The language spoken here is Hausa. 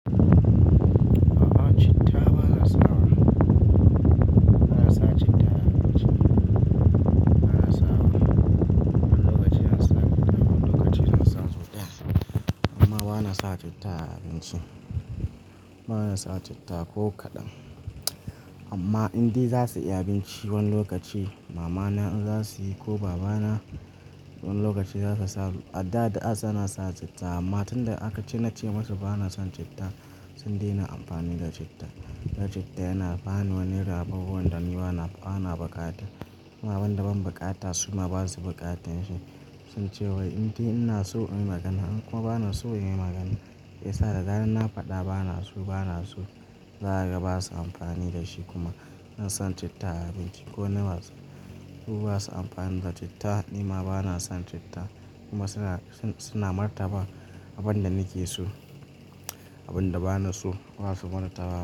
Baba citta ba a sa wa, ba na sa citta a abinci. Na sa wani wani lokaci ana sa guda wani lokaci na sa sosai amma ba na sa citta a abincin su. Ba na sa citta ko kaɗan amma indai za su yi abinci wani lokaci mama na in za su yi ko baba na wani lokaci za su sa. A da da'a suna sa citta amma tun da aka ce na ce musu ba na son citta sun daina amfani da citta. Da citta yana bani wani rawaro wanda ni ba na, ba na buƙata kuma abin da ban buƙata su ma ba su buƙatar shi. Sun ce wai indai ina so in yi magana kuma ba na so in yi magana. Ya sa da zaran na faɗa ba na so, ba na so. Za ka ga ba su amfani da shi kuma. Na son citta a abinci ko na wa su su ba su amfani da citta ni ma ba na son citta kuma suna, suna martaba abin da nake so. Abin da ba na so ba su manta ba.